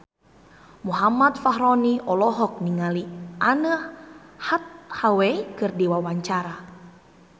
Muhammad Fachroni olohok ningali Anne Hathaway keur diwawancara